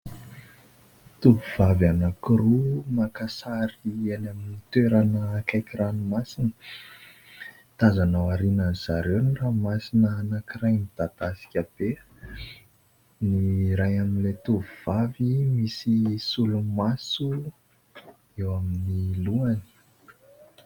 Tovovavy anankiroa maka sary eny amin'ny toerana akaiky ranomasina. Tazana aorianan'izy ireo ny ranomasina anankiray midadasika be. Ny iray amin'ilay tovovavy misy solomaso eo amin'ny lohany.